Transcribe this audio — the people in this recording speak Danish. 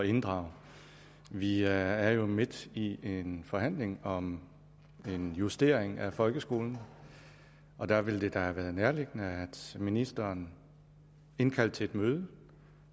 inddrage vi er jo midt i en forhandling om en justering af folkeskolen og der ville det da have været nærliggende at ministeren indkaldte til et møde